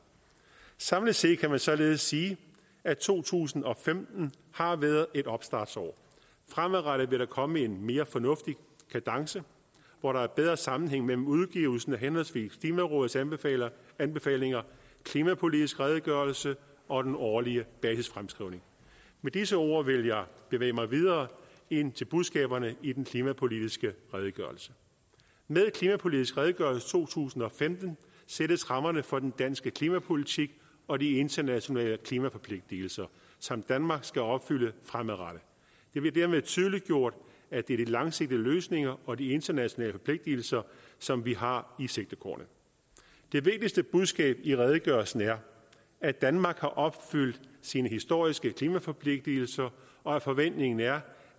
samlet set kan man således sige at to tusind og femten har været et opstartsår fremadrettet vil der komme en mere fornuftig kadence hvor der er bedre sammenhæng mellem udgivelsen af henholdsvis klimarådets anbefalinger anbefalinger klimapolitisk redegørelse og den årlige basisfremskrivning med disse ord vil jeg bevæge mig videre ind til budskaberne i den klimapolitiske redegørelse med klimapolitisk redegørelse to tusind og femten sættes rammerne for den danske klimapolitik og de internationale klimaforpligtigelser som danmark skal opfylde fremadrettet det bliver dermed tydeliggjort at det er de langsigtede løsninger og de internationale forpligtigelser som vi har i sigtekornet det vigtigste budskab i redegørelsen er at danmark har opfyldt sine historiske klimaforpligtigelser og at forventningen er